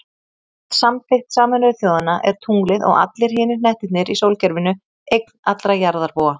Samkvæmt samþykkt Sameinuðu þjóðanna er tunglið, og allir hinir hnettirnir í sólkerfinu, eign allra jarðarbúa.